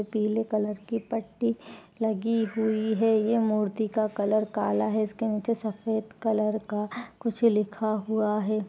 पीले कलर की पट्टी लगी हुई है। यह मूर्ति का कलर काला है इसके नीचे सफ़ेद कलर का कुछ लिखा हुआ है।